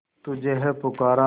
तुझे है पुकारा